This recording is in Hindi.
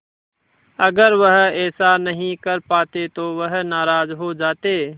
अगर वह ऐसा नहीं कर पाते तो वह नाराज़ हो जाते